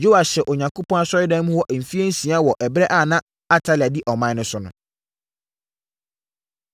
Yoas hyɛɛ Onyankopɔn Asɔredan mu hɔ mfeɛ nsia wɔ ɛberɛ a na Atalia di ɔman no so no.